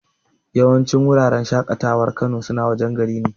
Yawancin wuraren shaƙatawar Kano suna wajen garin.